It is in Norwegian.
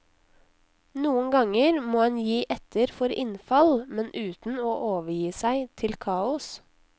Noen ganger må en gi etter for innfall, men uten å overgi seg til kaos.